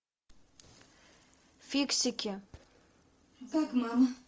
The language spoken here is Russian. фиксики